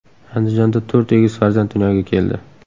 Andijonda to‘rt egiz farzand dunyoga keldi.